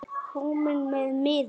Kominn með miða?